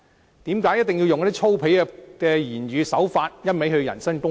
為甚麼一定要使用粗鄙的言語手法，一味人身攻擊？